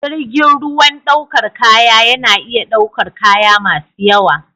Jirgin ruwan ɗaukar kaya yana iya ɗaukar kaya masu yawa.